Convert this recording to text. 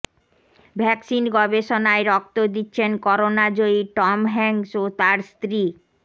vaccine গবেষণায় রক্ত দিচ্ছেন করোনাজয়ী টম হ্যাঙ্কস ও তাঁর স্ত্রী